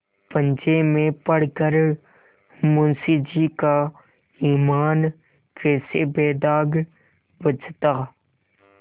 पंजे में पड़ कर मुंशीजी का ईमान कैसे बेदाग बचता